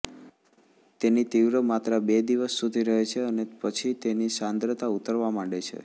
તેની તીવ્ર માત્રા બે દિવસ સુધી રહે છે અને પછી તેની સાંદ્રતા ઉતરવા માંડે છે